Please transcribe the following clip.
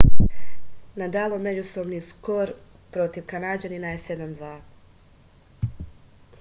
nadalov međusobni skor protiv kanađanina je 7-2